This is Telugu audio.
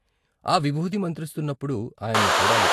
ఆ విబూది మంత్రిస్తున్నప్పుడు ఆయన్ను చూడాలి.